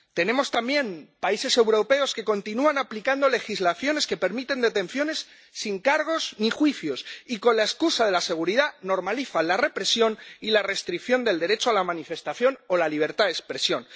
Tenemos también países europeos que continúan aplicando legislaciones que permiten detenciones sin cargos ni juicios y, con la excusa de la seguridad, normalizan la represión y la restricción del derecho a la manifestación o la libertad de expresión.